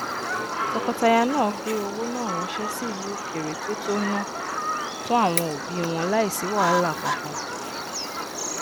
tọkọtaya náà gbé owó náà ranse sí ìlú òkèrè to tó ná fún àwọn òbí wọn láìsí wàhálà kankan